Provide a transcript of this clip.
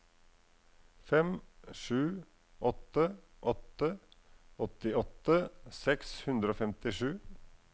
fem sju åtte åtte åttiåtte seks hundre og femtisju